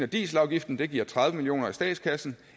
dieselafgiften giver tredive million kroner i statskassen